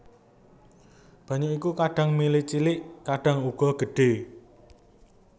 Banyu iku kadhang mili cilik kadhang uga gedhe